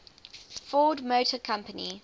ford motor company